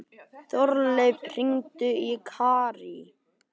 Þorleif, hringdu í Karín.